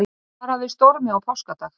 Varað við stormi á páskadag